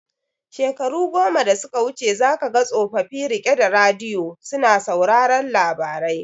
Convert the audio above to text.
Shekaru goma da suka wuce za kaga tsofofi rike da radiyo suna sauraron labarai